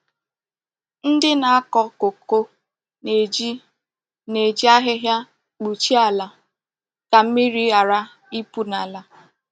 Ndị na-akọ kókó na-eji na-eji ahịhịa kpuchie àlà ka mmírí ghara ịpụ n’ala